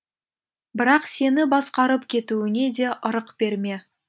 бірақ сені басқарып кетуіне де ырық берме